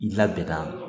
N labɛnna